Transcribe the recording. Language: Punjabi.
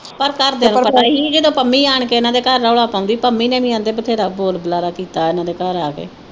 ਪਰ ਘਰਦਿਆਂ ਨੂੰ ਪਤਾ ਹੀ ਜਦੋਂ ਪੰਮੀ ਆਣ ਕੇ ਇਨ੍ਹਾਂ ਦੇ ਘਰ ਰੌਲਾ ਪਾਉਦੀ ਪੰਮੀ ਨੇ ਵੀ ਆਂਦੇ ਬਥੇਰਾ ਬੋਲ ਬੁਲਾਰਾ ਕੀਤਾ ਇਨ੍ਹਾਂ ਦੇ ਘਰ ਆ ਕੇ